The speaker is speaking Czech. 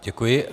Děkuji.